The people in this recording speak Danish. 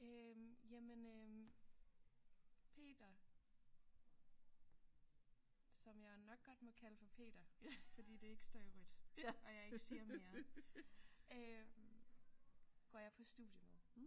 Øh jamen øh Peter som jeg nok godt må kalde for Peter fordi det ikke står i rødt og jeg ikke siger mere øh går jeg på studie med